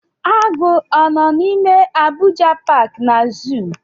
Agụ ọ nọ n'ime Abuja paaki na zuu?